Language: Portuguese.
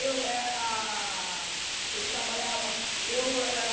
Eu era... Eu trabalhava... Eu era...